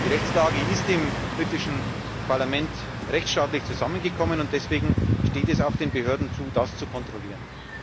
Die Rechtslage ist im britischen Parlament rechtsstaatlich geschaffen worden und deswegen steht es auch den Behörden zu, das zu kontrollieren.